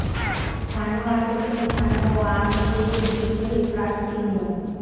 ছানোয়ার হোসেন ছানু ও আওয়ামী লীগের বিদ্রোহী প্রার্থী মো